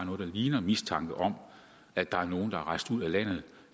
ligner mistanke om at der er nogle der er rejst ud af landet